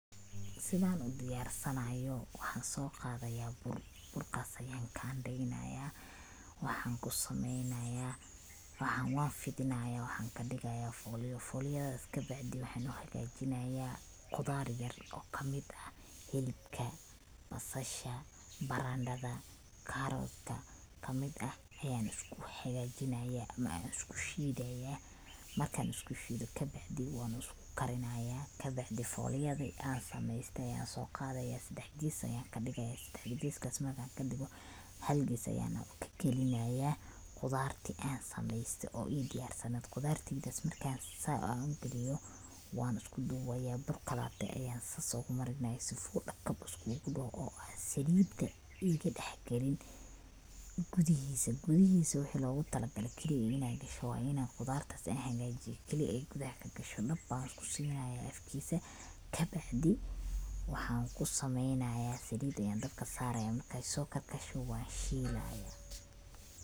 Sidan udiyarsabayo, waxan soo qadaya bur, burkaas ayan kandheynaya, waxan kusameeeynaya, waxan loo fidinayo waxan kudhigaya folyo, folyadas kabacdi waxan uhagajinaya qudar yar oo kamid ah hilibka, basasha, barandhada, karotka kamid ah ayan isku hagajinaya an isku shiidaya markan isku shiido kabacdi wan isku karinaya kabacdi folyadi an sameeyste ayan soo qadaya sedex ges ayan kadhigaya, sedex geskas markan kadhigo, hal ges ayan kagelinaya qudarti an sameeyste oo ii diyarsaneyd, qudartas markan sa an ugeliyo wan isku dubaya bur kalate ayan soo marinaya sifu dhakab isku dhoho, oo saliida inti dhax gelin gudihiisa, gudihiisa wixi logu tala gaale keliya inay gasho waa inay qudartaas an hagajiye keli ah gudaha kagasho dhab ankusinaya afkiisa, kabacdi waxan kusameeyna, saliid ayan dabka saaraya markay soo karkarto wan shiilaya